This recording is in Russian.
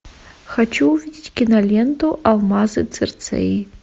хочу увидеть киноленту алмазы цирцеи